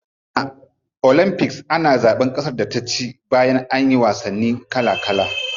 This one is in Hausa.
A olympics ana zaban kasar da ta ci bayan anyi wasanni kala kala.